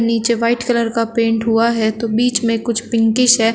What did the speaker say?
नीचे white colour का paint हुआ है तो बीच में कुछ पिंकिश है।